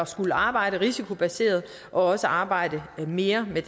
skulle arbejde risikobaseret og også arbejde mere med